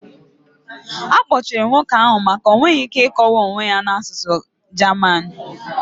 Akpọchiri nwoke ahụ maka o nweghị ike ịkọwa onye ya na asụsụ German.